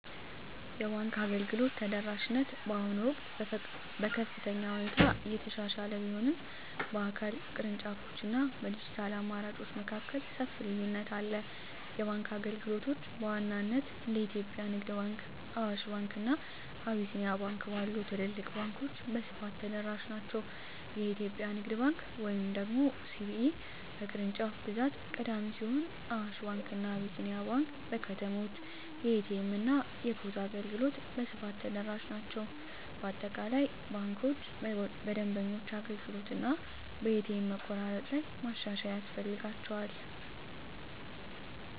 የባንክ አገልግሎት ተደራሽነት በአሁኑ ወቅት በከፍተኛ ሁኔታ እየተሻሻለ ቢሆንም፣ በአካል ቅርንጫፎች እና በዲጂታል አማራጮች መካከል ሰፊ ልዩነት አለ። የባንክ አገልግሎቶች በዋናነት እንደ የኢትዮጵያ ንግድ ባንክ፣ አዋሽ ባንክ፣ እና አቢሲኒያ ባንክ ባሉ ትልልቅ ባንኮች በስፋት ተደራሽ ናቸው። የኢትዮጵያ ንግድ ባንክ (CBE) በቅርንጫፍ ብዛት ቀዳሚ ሲሆን፣ አዋሽ ባንክ እና አቢሲኒያ ባንክ በከተሞች የኤ.ቲ.ኤም እና የፖስ አገልግሎት በስፋት ተደራሽ ናቸው። በአጠቃላይ ባንኮች በደንበኞች አገልግሎት እና በኤ.ቲ.ኤም መቆራረጥ ላይ ማሻሻያ ያስፈልጋቸዋል።